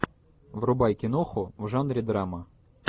врубай киноху в жанре драма